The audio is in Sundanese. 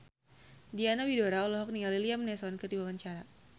Diana Widoera olohok ningali Liam Neeson keur diwawancara